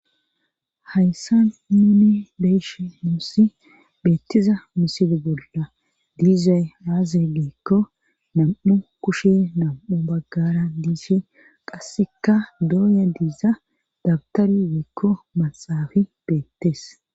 Hayssa nuni beeshe nuussi beettiza misile bolla diizey aaze giikko nam7u kushe nam7u baggara diishe qasseka dooya diiza dabtar weekko maxafi beettees.